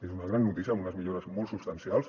és una gran notícia amb unes millores molt substancials